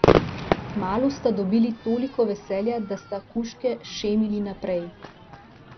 Kmalu sta dobili toliko veselja, da sta kužke šemili naprej.